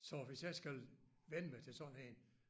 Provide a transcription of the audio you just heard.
Så hvis jeg skal vænne mig til sådan en